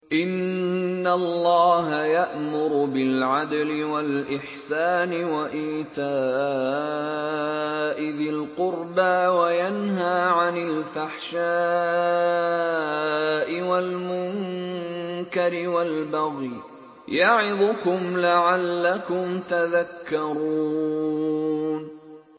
۞ إِنَّ اللَّهَ يَأْمُرُ بِالْعَدْلِ وَالْإِحْسَانِ وَإِيتَاءِ ذِي الْقُرْبَىٰ وَيَنْهَىٰ عَنِ الْفَحْشَاءِ وَالْمُنكَرِ وَالْبَغْيِ ۚ يَعِظُكُمْ لَعَلَّكُمْ تَذَكَّرُونَ